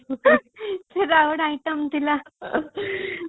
ସେଇଟା ଗୋଟେ item ଥିଲା